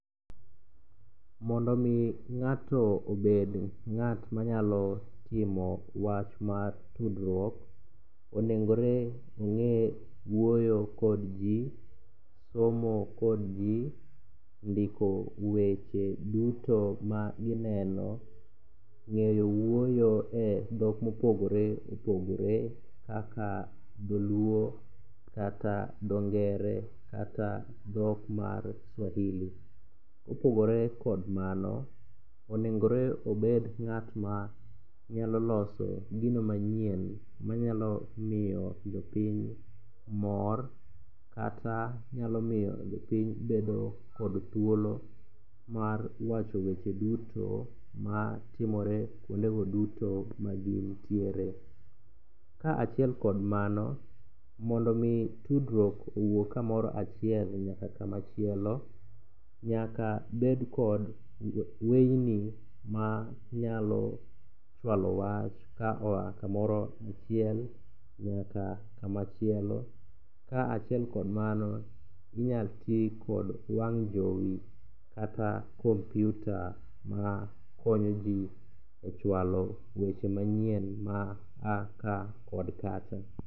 Mondo omi ng'ato obed ng'at manyalo timo wach mar tudruok, onengore ong'e wuoyo kod ji, somo kod ji, ndiko weche duto ma ineno ,ng'eyo wuoyo e dhok mopogore opogore kaka dholuo kata dhongere kata dhok mar swahili. Kopogore kod mano, onengore obed ng'at manyalo loso gino manyien manyalo miyo jopiny mor kata nyalo miyo jopiny bedo kod thulo mar wacho wechego duto matimore kwondego duto ma ji nitiere. Ka achiel kod mano, mondo omi tudruok owuog kamoro achiel nyaka kamachielo, nyaka bed kod weyini manyalo chwalo wach ka oa kamoro achiel nyaka kamachielo, ka achiel kod mano, inyalo ti kod wang' jowi kata kompyuta ma konyoji e chwalo weche manyien ma a ka kod kacha.